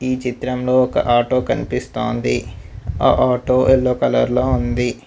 ఈ చిత్రంలో ఒక ఆటో కనిపిస్తాంది ఆ ఆటో ఎల్లో కలర్ లో ఉంది.